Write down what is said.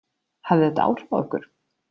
Hafði þetta áhrif á ykkur?